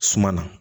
Suma na